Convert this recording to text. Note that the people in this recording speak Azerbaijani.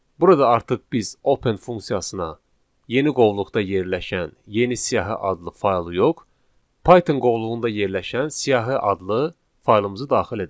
Burada artıq biz open funksiyasına yeni qovluqda yerləşən yeni siyahı adlı faylı yox, Python qovluğunda yerləşən siyahı adlı faylımızı daxil edək.